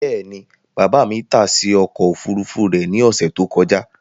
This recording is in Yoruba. Bẹ́ẹ̀ni, baba mi tase ọkọ ofurufu rẹ ni ọsẹ to kọja